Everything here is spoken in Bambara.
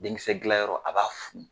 Denkisɛdilanyɔrɔ a b'a fu